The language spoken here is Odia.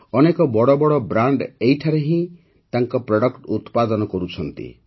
ଅନେକ ବଡ଼ ବଡ଼ ବ୍ରାଣ୍ଡ ଏଠାରେ ହିଁ ତାଙ୍କ ପ୍ରଡକ୍ଟ ଉତ୍ପାଦନ କରୁଛନ୍ତି